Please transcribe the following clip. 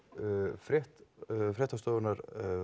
frétt fréttastofunnar